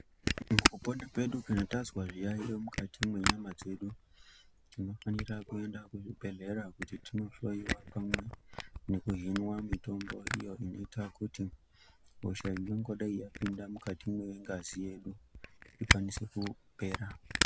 Mukupona kwedu kana tazwa zviyaiyo mukati menyama dzedu, tinofanira kuenda kuzvibhehlera. Kuti tinonhloyiwa pamwe nekuhinwa mitombo iyo inoita kuti hosha iyi inongadai yapinda mungazi medu ikwanise kupera.